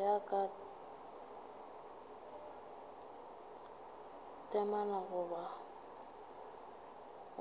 ya ka temana goba